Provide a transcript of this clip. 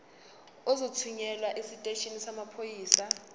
uzothunyelwa esiteshini samaphoyisa